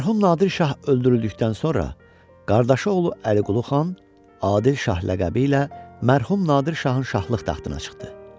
Mərhum Nadir şah öldürüldükdən sonra qardaşı oğlu Əliqulu xan Adil şah ləqəbi ilə mərhum Nadir şahın şahlıq taxtına çıxdı.